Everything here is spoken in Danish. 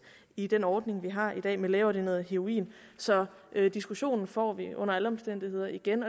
i den ordning vi har i dag med lægeordineret heroin så diskussionen får vi under alle omstændigheder igen